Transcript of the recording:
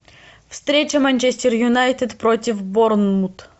встреча манчестер юнайтед против борнмут